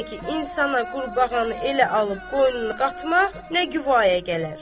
Həss necə ki insana qurbağanı elə alıb qoynuna qatmaq nə quvaya gələr.